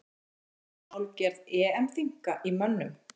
Var kannski hálfgerð EM þynnka í mönnum?